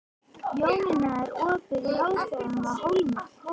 Jónína, er opið í Háskólanum á Hólum?